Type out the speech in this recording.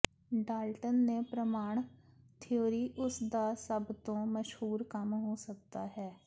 Dalton ਦੇ ਪ੍ਰਮਾਣੂ theory ਉਸ ਦਾ ਸਭ ਤੋਂ ਮਸ਼ਹੂਰ ਕੰਮ ਹੋ ਸਕਦਾ ਹੈ